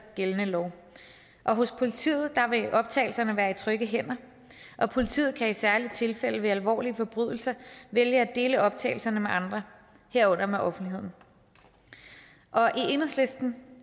gældende lov hos politiet vil optagelserne være i trygge hænder og politiet kan i særlige tilfælde ved alvorlige forbrydelser vælge at dele optagelserne med andre herunder offentligheden og i enhedslisten